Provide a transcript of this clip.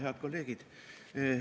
Head kolleegid!